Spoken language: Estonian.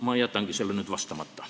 Ma jätan sellele küsimusele vastamata.